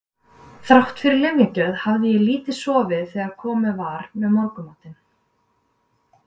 Þrátt fyrir lyfjagjöf hafði ég lítið sofið þegar komið var með morgunmatinn.